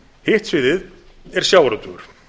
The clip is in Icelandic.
hitt sviðið er sjávarútvegur